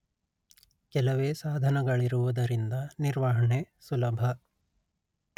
ಕೆಲವೇ ಸಾಧನಗಳಿರುವುದರಿಂದ ನಿರ್ವಹಣೆ ಸುಲಭ